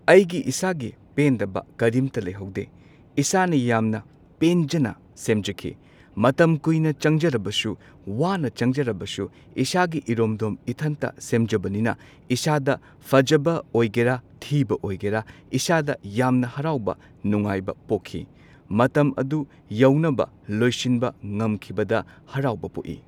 ꯑꯩꯒꯤ ꯏꯁꯥꯒꯤ ꯄꯦꯟꯗꯕ ꯀꯔꯤꯝꯇ ꯂꯩꯍꯧꯗꯦ ꯏꯁꯥꯅ ꯌꯥꯝꯅ ꯄꯦꯟꯖꯅ ꯁꯦꯝꯖꯈꯤ꯫ ꯃꯇꯝ ꯀꯨꯏꯅ ꯆꯪꯖꯔꯕꯁꯨ ꯋꯥꯅ ꯆꯪꯖꯔꯕꯁꯨ ꯏꯁꯥꯒꯤ ꯏꯔꯣꯝꯗꯣꯝ ꯏꯊꯟꯇ ꯁꯦꯝꯖꯕꯅꯤꯅ ꯏꯁꯥꯗ ꯐꯖꯕ ꯑꯣꯏꯒꯦꯔꯥ ꯊꯤꯕ ꯑꯣꯏꯒꯦꯔꯥ ꯏꯁꯥꯗ ꯌꯥꯝꯅ ꯍꯔꯥꯎꯕ ꯅꯨꯡꯉꯥꯏꯕ ꯄꯣꯛꯈꯤ꯫ ꯃꯇꯝ ꯑꯗꯨ ꯌꯧꯅꯕ ꯂꯣꯏꯁꯤꯟꯕ ꯉꯝꯈꯤꯕꯗ ꯍꯔꯥꯎꯕ ꯄꯣꯛꯏ꯫